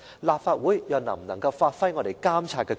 立法會又能否行使監察權？